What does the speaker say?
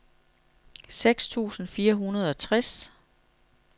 seks tusind fire hundrede og tres